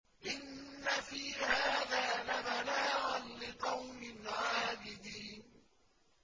إِنَّ فِي هَٰذَا لَبَلَاغًا لِّقَوْمٍ عَابِدِينَ